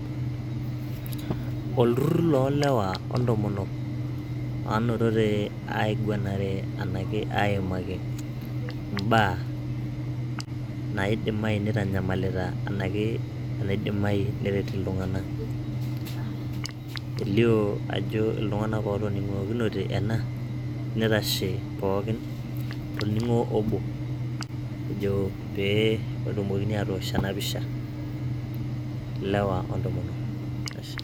olturrur loo lewa ontomonok, naa notote aiguanare aimaki imbaa naaidimayu nitanyamalita naidimayu neret iltung'anak, elio ajo iltung'anak ootoning'okinote toning'o obo ejo pee etumokini aatosh ena pisha.